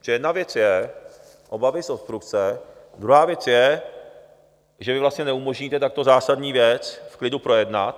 Protože jedna věc je obavy z obstrukce, druhá věc je, že vy vlastně neumožníte takto zásadní věc v klidu projednat.